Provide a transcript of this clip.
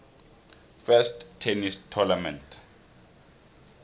first tennis tournament